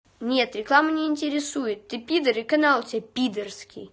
нет реклама не интересует ты пидар и канал у тебя пидорский